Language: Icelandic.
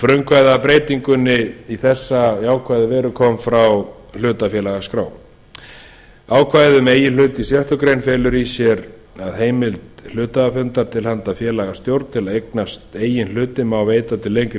frumkvæðið að breytingunni í þessa jákvæðu veru kom frá hlutafélagaskrá ákvæðið um eigin hluti í sjöttu grein felur í sér að heimild hluthafafundar til handa félagastjórn til að eignast eigin hluti má veita til lengri